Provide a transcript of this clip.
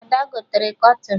Ada gotere kọtịn